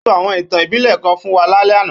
Ó sọ àwọn ìtàn ìbílẹ̀ kan fún wa lálẹ́ àná